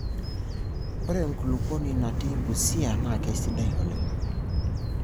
Ore enkulupuoni natii Busia NAA keidai oleng.